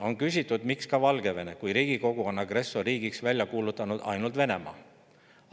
On küsitud, miks ka Valgevene, kui Riigikogu on agressorriigiks kuulutanud ainult Venemaa.